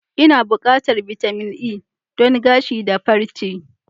Ina buƙatar bitamin E don gashi da farche.